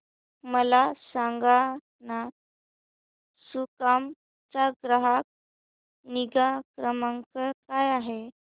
मला सांगाना सुकाम चा ग्राहक निगा क्रमांक काय आहे